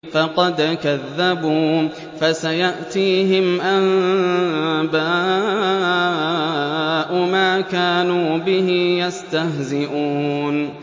فَقَدْ كَذَّبُوا فَسَيَأْتِيهِمْ أَنبَاءُ مَا كَانُوا بِهِ يَسْتَهْزِئُونَ